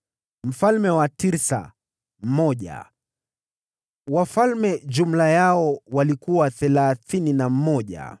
mfalme wa Tirsa mmoja wafalme jumla yao ilikuwa thelathini na mmoja.